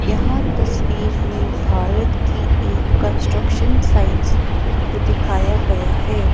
यहां तस्वीर में भारत की एक कंस्ट्रक्शन साइट्स को दिखाया गया है।